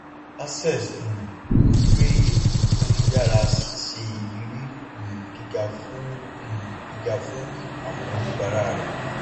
access um ń gbé ètò tó yára ṣíṣe irírí um gíga fún um gíga fún àwọn oníbàrà rẹ